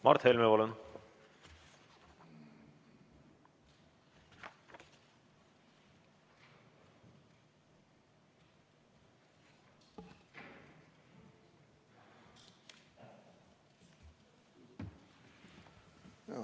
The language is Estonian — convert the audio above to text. Mart Helme, palun!